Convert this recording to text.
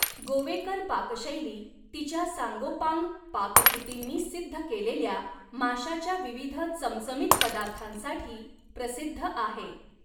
गोवेकर पाकशैली तिच्या सांगोपांग पाककृतींनी सिद्ध केलेल्या माशाच्या विविध चमचमीत पदार्थांसाठी प्रसिद्ध आहे.